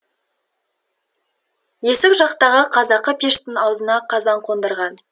есік жақтағы қазақы пештің аузына қазан қондырған